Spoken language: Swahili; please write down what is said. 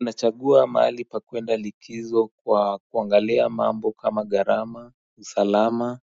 Unachagua mahali pa kuenda likizo kwa kuangalia mambo kama gharama, usalama,